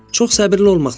Çox səbirli olmaq lazımdır.